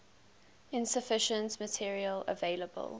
insufficient material available